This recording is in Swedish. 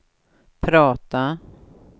prata